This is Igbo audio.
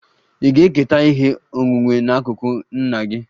Ị ga-eketa ihe onwunwe n'akụkụ nna gị?